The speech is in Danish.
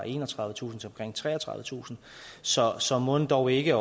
enogtredivetusind til omkring treogtredivetusind så så mon dog ikke at